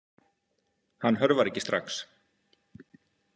Hann hörfar ekki strax.